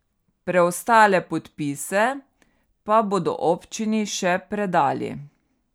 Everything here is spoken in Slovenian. Preostale podpise pa bodo občini še predali.